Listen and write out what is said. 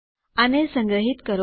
આને સંગ્રહીત કરો